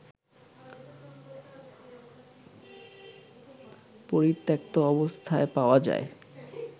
পরিত্যক্ত অবস্থায় পাওয়া যায়